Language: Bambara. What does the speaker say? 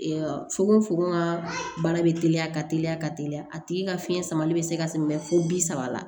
fogo fogo ka bana bɛ teliya ka teliya ka teliya a tigi ka fiɲɛ samali bɛ se ka sɛmɛ fo bi saba la